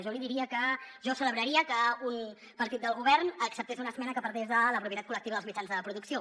jo li diria que jo ce·lebraria que un partit del govern acceptés una esmena que parlés de la propietat col·lectiva dels mitjans de producció